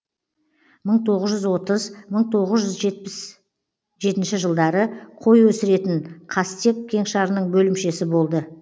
мың тоғыз жүз отыз мың тоғыз жүз жетпіс жетінші жылдары қой өсіретін қастек кеңшарының бөлімшесі болды